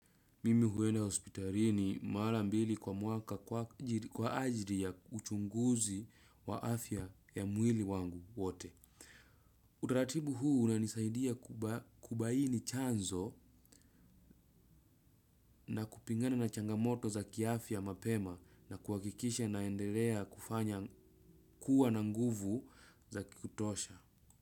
Mimi huenda hospitalini mara mbili kwa mwaka kwa ajili ya uchunguzi wa afya ya mwili wangu wote. Utaratibu huu unanisaidia kubaini chanzo na kupingana na changamoto za kiafya mapema na kuhakikisha naendelea kufanya kuwa na nguvu za kutosha.